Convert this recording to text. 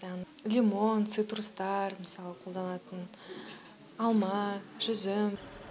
яғни лимон цитрустар мысалы қолданатын алма жүзім